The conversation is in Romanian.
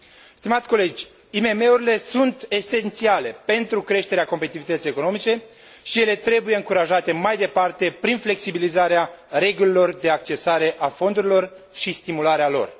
Stimați colegi, IMM urile sunt esențiale pentru creșterea competitivității economice și ele trebuie încurajate mai departe prin flexibilizarea regulilor de accesare a fondurilor și stimularea lor.